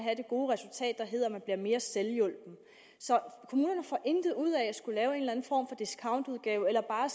bliver mere selvhjulpne så kommunerne får intet ud af at discountudgave eller bare